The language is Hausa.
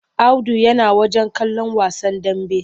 Audu yana wajen kallon wasan dambe.